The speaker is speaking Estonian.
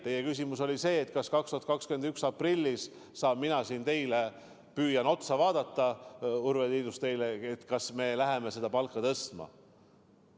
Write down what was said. Teie küsimus oli see, kas 2021. aasta aprillis saan mina siin teile, Urve Tiidus, otsa vaadata ja kinnitada, et me läheme seda palka tõstma.